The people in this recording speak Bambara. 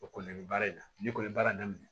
O kɔni bɛ baara in na n'i ko baara in daminɛ